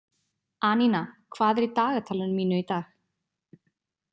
Anína, hvað er í dagatalinu mínu í dag?